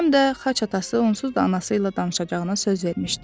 Həm də xaç atası onsuz da anası ilə danışacağına söz vermişdi.